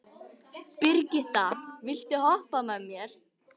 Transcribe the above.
Brigitta, viltu hoppa með mér?